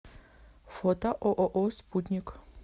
фото ооо спутник